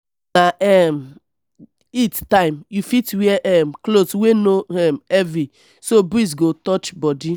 if na um heat time you fit wear um cloth wey no um heavy so breeze go touch body